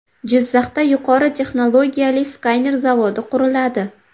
Jizzaxda yuqori texnologiyali skaner zavodi quriladi.